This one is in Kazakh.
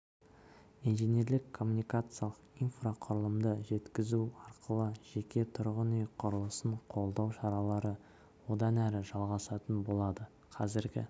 инженерлік-коммуникациялық инфрақұрылымды жеткізу арқылы жеке тұрғын үй құрылысын қолдау шаралары одан әрі жалғасатын болады қазіргі